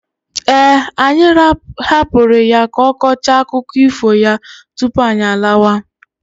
Eh, anyị hapụrụ ya ka ọ kọchaa akụkọ ifo ya tupu anyị alawa.